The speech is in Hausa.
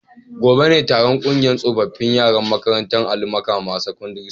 Gobe ​​ne taron kungiyar tsofaffin yaran makarantar Ali Makama secondary school